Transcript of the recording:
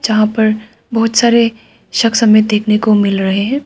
जहां पर बहुत सारे शख्स में देखने को मिल रहे हैं।